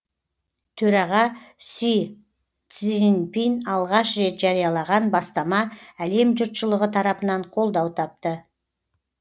төраға си цзиньпин алғаш рет жариялаған бастама әлем жұртшылығы тарапынан қолдау тапты